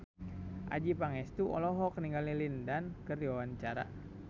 Adjie Pangestu olohok ningali Lin Dan keur diwawancara